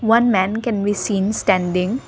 One man can be seen standing.